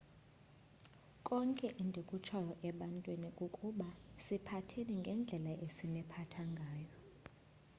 konke endikutshoyo ebantwini kukuba siphatheni ngendlela esiniphatha ngayo